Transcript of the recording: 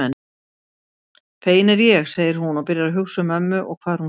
Fegin er ég, segir hún og byrjar að hugsa um mömmu og hvar hún sé.